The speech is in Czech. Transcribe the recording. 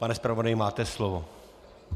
Pane zpravodaji, máte slovo.